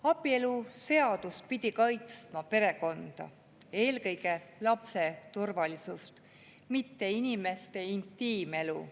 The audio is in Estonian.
Abieluseadus pidi kaitsma perekonda, eelkõige lapse turvalisust, mitte inimeste intiimelu.